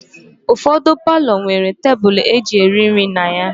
Ụfọdụ palọ nwere tebụlụ e ji eri nri na ha